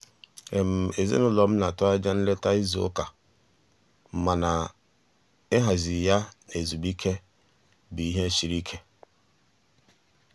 ezinụlọ m na-atụ anya nleta izu ụka mana ịhazi ya na ezumike bụ ihe siri ike.